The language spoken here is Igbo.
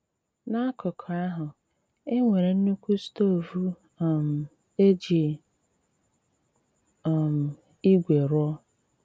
N’ákùkù ahụ, e nwéré nnukwu stóvú um e jí um ígwè rụọ.